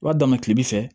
I b'a dan kilema fɛ